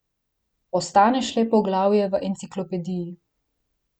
Postaneš le poglavje v enciklopediji.